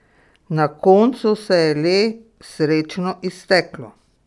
Na koncu se je le srečno izteklo!